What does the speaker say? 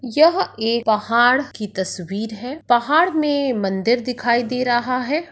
यह एक पहाड़ की तस्वीर है। पहाड़ में मंदिर दिखाई दे रहा है।